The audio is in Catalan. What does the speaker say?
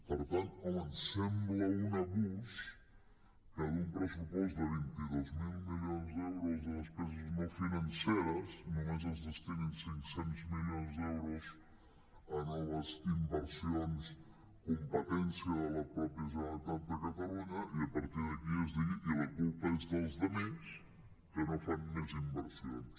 per tant home em sembla un abús que d’un pressupost de vint dos mil milions d’euros de despeses no financeres només es destinin cinc cents milions d’euros a noves inversions competència de la mateixa generalitat de catalunya i a partir d’aquí es digui i la culpa és dels altres que no fan més inversions